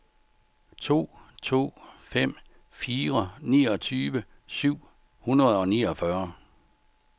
to to fem fire niogtyve syv hundrede og niogfyrre